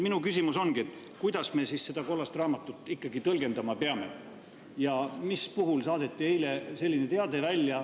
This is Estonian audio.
Minu küsimus ongi, kuidas me seda kollast raamatut ikkagi tõlgendama peame ja mille puhul saadeti eile selline teade välja.